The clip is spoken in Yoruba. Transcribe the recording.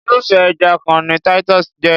Irúfé ẹja kan ni Titus jé.